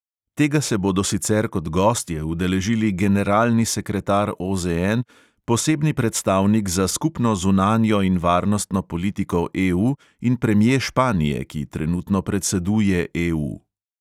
Tega se bodo sicer kot gostje udeležili generalni sekretar OZN, posebni predstavnik za skupno zunanjo in varnostno politiko EU in premje španije, ki trenutno predseduje EU.